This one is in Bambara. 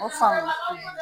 O faamun;